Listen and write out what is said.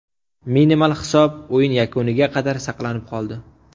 Minimal hisob o‘yin yakuniga qadar saqlanib qoldi.